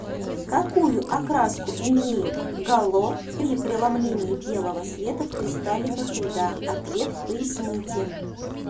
какую окраску имеют гало при преломлении белого света в кристалликах льда ответ поясните